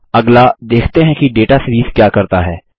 अगला देखते हैं कि दाता सीरीज क्या करता है